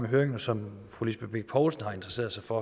høringen og som fru lisbeth bech poulsen har interesseret sig for